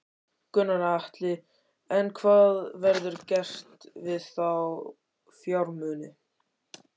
Gunnar Atli: En hvað verður gert við þá fjármuni?